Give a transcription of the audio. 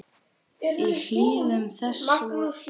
Í hlíðum þess voru enn skaflar.